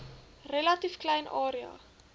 relatief klein area